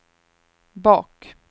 bak